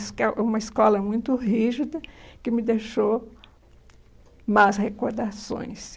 diz que uma escola muito rígida, que me deixou más recordações.